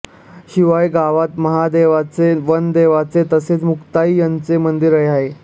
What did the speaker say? शिवाय गावात महादेवाचे वनदेवाचे तसेच मुक्ताई यांची मंदिरे आहे